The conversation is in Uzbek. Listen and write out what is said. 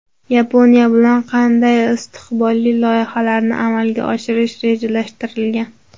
Yaponiya bilan qanday istiqbolli loyihalarni amalga oshirish rejalashtirilgan?.